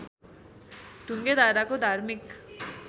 ढुङ्गे धाराको धार्मिक